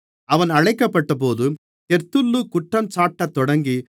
அவன் அழைக்கப்பட்டபோது தெர்த்துல்லு குற்றஞ்சாட்டத்தொடங்கி